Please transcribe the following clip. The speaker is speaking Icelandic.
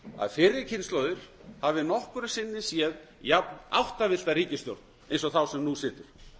að fyrri kynslóðir hafi nokkru sinni séð jafnáttavillta ríkisstjórn og þá sem nú situr